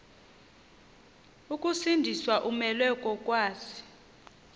ukusindiswa umelwe kokwazi